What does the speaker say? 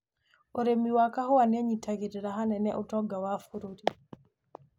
ũrĩmi wa kahua nĩũnyitagĩrĩra hanene utonga wa Kenya